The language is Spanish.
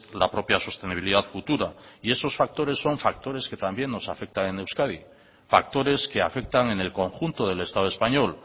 la propia sostenibilidad futura y esos factores son factores que también nos afectan en euskadi factores que afectan en el conjunto del estado español